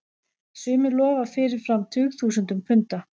Sumir lofa fyrirfram tugþúsundum punda.